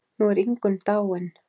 Nú er Ingunn dáin.